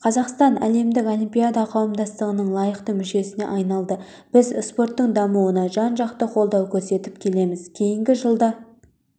қазақстан әлемдік олимпиада қауымдастығының лайықты мүшесіне айналды біз спорттың дамуына жан-жақты қолдау көрсетіп келеміз кейінгі жылда